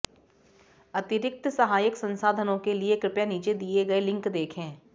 अतिरिक्त सहायक संसाधनों के लिए कृपया नीचे दिए गए लिंक देखें